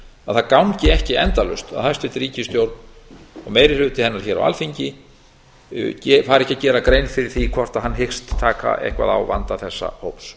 að það gangi ekki endalaust að hæstvirt ríkisstjórn og meiri hluti hennar hér á alþingi fari ekki að gera grein fyrir því hvort hann hyggst taka eitthvað á vanda þessa hóps